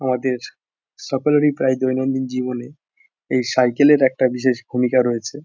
আমাদের সকলেরই প্রায় দৈনন্দিন জীবনে এই সাইকেল -এর একটা বিশেষ ভূমিকা রয়েছে।